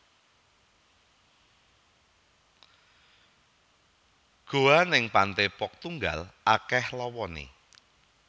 Goa ning Pantai Pok Tunggal akeh lowone